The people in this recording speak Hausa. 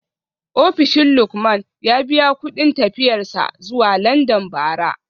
Ofishin Lukman ya biya kudin tafiyar sa zuwa london bara